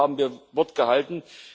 Auch hier haben wir Wort gehalten.